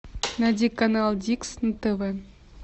найди канал дикс на тв